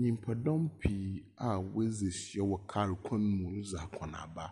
Nnyipadɔm pii a wɔadzi ahyia wɔ kar kwan mu redzi akɔnaba.